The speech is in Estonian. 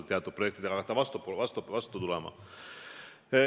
Teatud projektidega võiks hakata vastu tulema.